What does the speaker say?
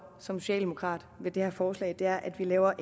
som socialdemokrat ved det her forslag er at vi laver